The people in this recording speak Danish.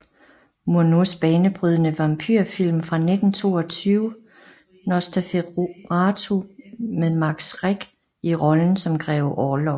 Murnaus banebrydende vampyrfilm fra 1922 Nosferatu med Max Schreck i rollen som Grev Orlok